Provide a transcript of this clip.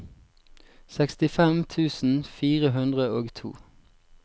sekstifem tusen fire hundre og to